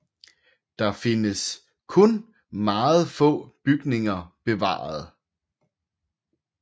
Der findes kun meget få bygninger bevaret